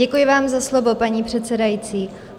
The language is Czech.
Děkuji vám za slovo, paní předsedající.